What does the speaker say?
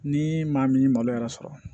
Ni maa min ye malo yɛrɛ sɔrɔ